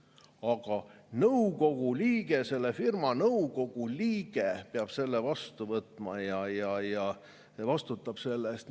"Aga nõukogu liige, selle firma nõukogu liige peab selle vastu võtma ja vastutab selle eest.